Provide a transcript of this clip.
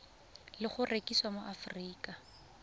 le go rekisiwa mo aforika